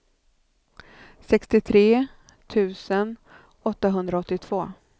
sextiotre tusen åttahundraåttiotvå